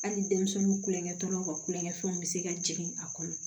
Hali denmisɛnninw kulonkɛ tɔɔrɔw ka kulonkɛ fɛnw bɛ se ka jigin a kɔnɔ